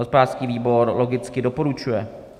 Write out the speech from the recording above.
Hospodářský výbor logicky doporučuje.